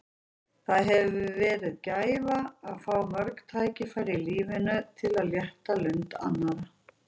Það hefur verið gæfa að fá mörg tækifæri í lífinu til að létta lund annarra.